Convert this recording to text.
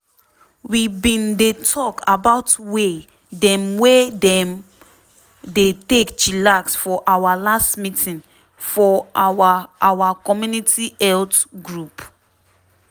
we bin dey talk about way dem wey dem dey take chillax for our last meeting for our our community health group.